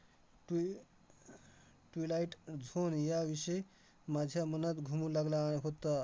ट्वि~ अह twilight zone याविषयी माझ्या मनात घुंगू लागला आह होतं.